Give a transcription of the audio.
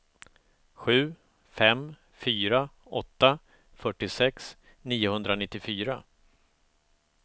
sju fem fyra åtta fyrtiosex niohundranittiofyra